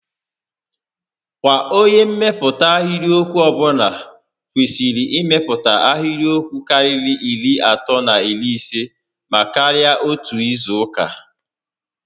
Kwa onyé mmepụta ahịrịokwu ọbụla kwesịrị imepụta ahịrịokwu karịrị iri atọ na iri isé maa karịa n'otu izu uka